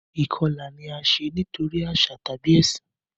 Ìkọlà ni a ṣe nitori aṣa tabi ẹsin.